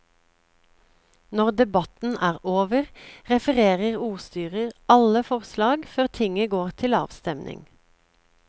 Når debatten er over, refererer ordstyrer alle forslag før tinget går til avstemning.